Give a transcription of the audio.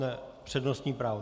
Ne, přednostní právo.